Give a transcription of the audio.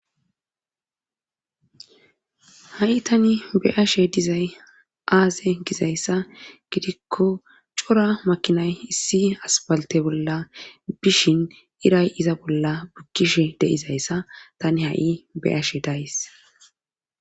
ha7i tani beashe dizay aaze gizayssa gidikko cora makinay issi asbalte bolla bishin iray iza bolla bukkishe deizayssa tani ha7i beashe days